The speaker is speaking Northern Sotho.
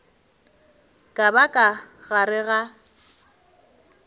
ka ba ka gare ga